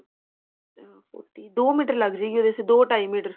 ਤੇ ਉਹ ਦੋ ਮੀਟਰ ਲੱਗ ਜੇਗੀ ਉਹਦੇ ਚ ਦੋ ਢਾਈ ਮੀਟਰ